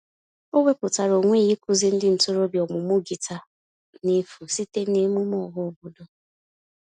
O wepụtara onwe ya ịkụzi ndị ntorobịa ọmụmụ gịta n'efu site n'emume ọhaobodo.